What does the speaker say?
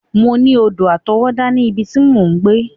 Mọ ní odò àtọwọ́dá ní ibi tí mò ń gbé.